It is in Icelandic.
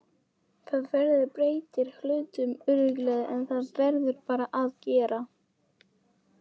Það breytir hlutunum örugglega en þetta verður bara að gera.